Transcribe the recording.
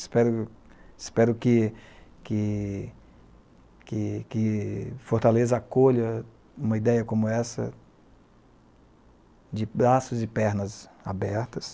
Espero que, que, que , que, que Fortaleza acolha uma ideia como essa de braços e pernas abertas.